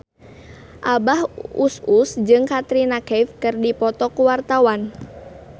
Abah Us Us jeung Katrina Kaif keur dipoto ku wartawan